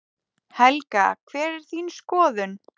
Helga: Hver er þín skoðun?